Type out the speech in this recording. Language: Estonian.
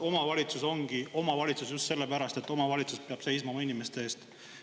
Omavalitsus ongi omavalitsus just sellepärast, et omavalitsus peab seisma oma inimeste eest.